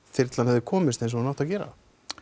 þyrlan hefði komist eins og hún átti að gera